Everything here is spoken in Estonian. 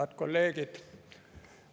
Head kolleegid!